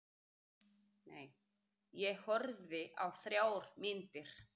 Ég horfði á þrjár myndir.